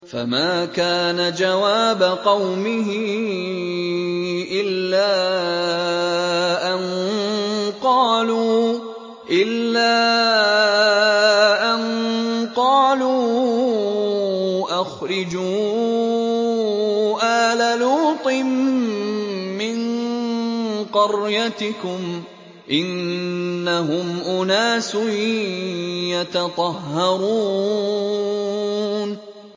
۞ فَمَا كَانَ جَوَابَ قَوْمِهِ إِلَّا أَن قَالُوا أَخْرِجُوا آلَ لُوطٍ مِّن قَرْيَتِكُمْ ۖ إِنَّهُمْ أُنَاسٌ يَتَطَهَّرُونَ